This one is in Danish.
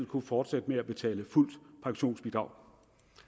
kunne fortsætte med at betale fuldt pensionsbidrag